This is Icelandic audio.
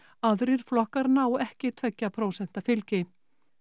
aðrir flokkar ná ekki tveggja prósenta fylgi